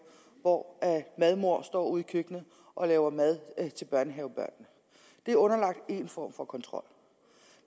hvor madmor står ude i køkkenet og laver mad til børnehavebørnene er underlagt en form for kontrol